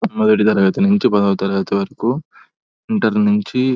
ఏడవ తరగతి నుండి పదవ తరగతి వరకు ఇంటర్ నుంచి--